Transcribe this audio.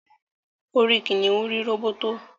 orí kìnìún rí róbótó